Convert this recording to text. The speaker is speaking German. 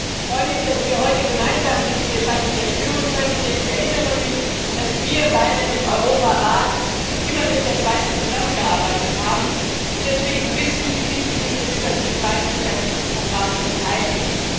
Ich freue mich, dass wir heute gemeinsam diese Debatte führen können, denn ich erinnere mich, dass wir beide im Europarat immer mit der Schweiz zusammengearbeitet haben und deswegen wissen, wie wichtig es ist, dass sich die Schweiz an diesen Programmen beteiligt.